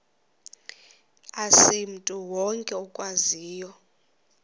asimntu wonke okwaziyo